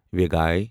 ویگایۍ